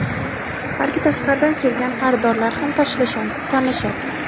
balki tashqaridan kelgan xaridorlar ham tanlashadi.